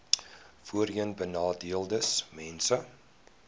voorheenbenadeeldesmense